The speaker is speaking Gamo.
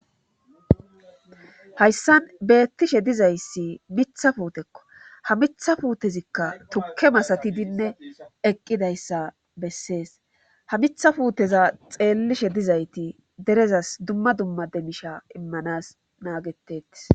Hayssan beettishe dizayssi mitha puutekko ha mitha puutezikka tukke masatidinne eqqidayssa bessees ha mitha puuteza xeellishe dizayti derezas dumma dumma demisha immanas naagetetis.